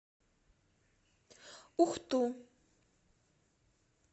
ухту